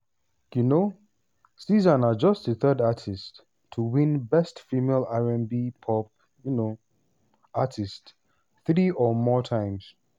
um sza na just di third artist to win best female r&b/pop um artist three or more times.